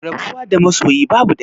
Rabuwa da masoyi babu dadi